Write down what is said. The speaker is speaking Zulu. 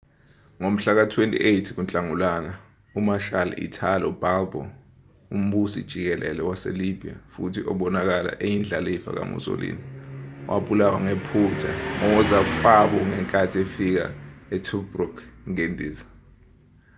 ngomhlaka 28 kunhlangulana 28 u-marshal italo balbo umbusi-jikelele wase-libya futhi obonakala eyindlalifa ka-musolini wabulawa ngephutha ngozakwabongenkathi efika e-tobruk ngendiza